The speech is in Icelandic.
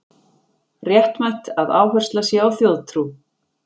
Réttmætt að áhersla sé á þjóðtrú